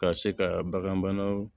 Ka se ka bagan banaw